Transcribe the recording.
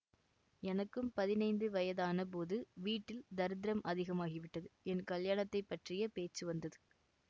எனக்கும் பதினைந்து வயதான போது வீட்டில் தரித்திரம் அதிகமாகிவிட்டது என் கல்யாணத்தைப் பற்றிய பேச்சு வந்தது